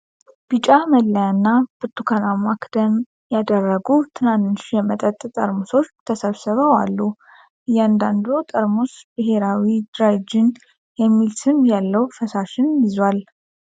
ቢጫ መለያና ብርቱካናማ ክዳን ያደረጉ ትናንሽ የመጠጥ ጠርሙሶች ተሰብስበው አሉ። እያንዳንዱ ጠርሙስ "ብሄራዊ ድራይ ጅን" የሚል ስም ያለው ፈሳሽ ይዟል።